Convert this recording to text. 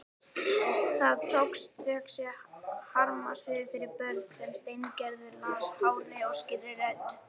Það tókst, þökk sé harmsögu fyrir börn sem Steingerður las hárri og skýrri röddu.